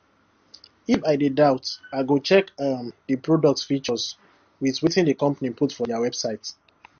if i dey doubt i i go check um the product features with wetin the company put for their website